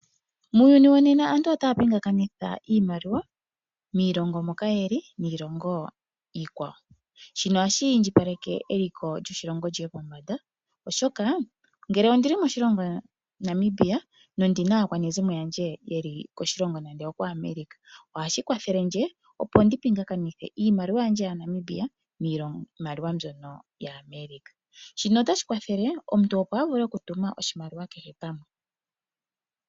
Muuyuni wo nena aantu otaya pingakanitha iimaliwa moshilongo moka yeli niilongo iikwawo. Shino ohashi indjipaleke eliko lyoshilongo lyiye pombanda oshoka ngele omuntu okuli moshilongo Namibia ye okuna aakwanezimo ye yeli koAmerica ohashi kwathele, opo omuntu a pingakanithe iimaliwa. Shika otashi kwathele omuntu opo a vule oku tuma oshimaliwa kehe pamwe